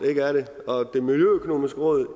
og det miljøøkonomiske råd